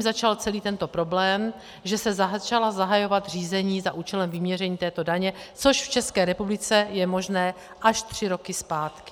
začal celý tento problém, že se začala zahajovat řízení za účelem vyměření této daně, což v České republice je možné až tři roky zpátky.